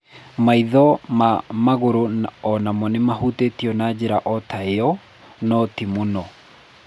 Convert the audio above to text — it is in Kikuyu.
Maitho ma magũrũ o namo nĩ mahutĩtio na njĩra o ta ĩyo, no ti mũno.